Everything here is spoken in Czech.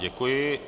Děkuji.